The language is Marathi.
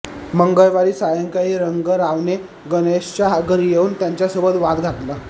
मंगळवारी सायंकाळी रंगरावने गणेशच्या घरी येऊन त्याच्यासोबत वाद घातला